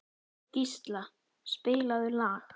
Gísla, spilaðu lag.